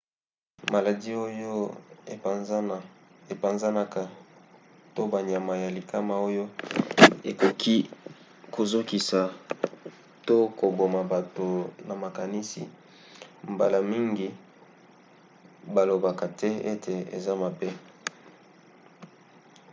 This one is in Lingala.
maladi oyo epanzanaka to banyama ya likama oyo ekoki kozokisa to koboma bato na makasi mbala mingi balobaka te ete eza mabe